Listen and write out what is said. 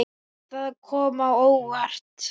Það kom á óvart.